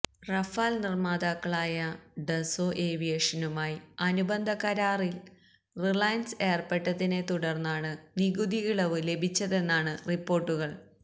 Rafale നിര്മാതാക്കളായ Dassault ഏവിയേഷനുമായി അനുബന്ധ കരാരില് റിലയന്സ് ഏര്പ്പെട്ടതിനെ തുടര്ന്നാണ് നികുതി ഇളവ് ലഭിച്ചതെന്നാണ് റിപ്പോർട്ടുകൾ